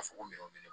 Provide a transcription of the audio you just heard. A fɔ ko minɛn ne